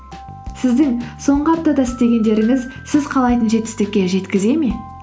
сіздің соңғы аптада істегендеріңіз сіз қалайтын жетістікке жеткізе ме